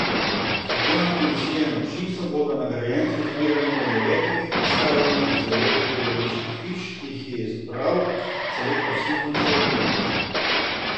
Strokovna komisija in občinstvo bodo nagrajence izbirali med devetimi predstavami iz devetih gledaliških hiš, ki jih je izbral selektor Simon Šerbinek.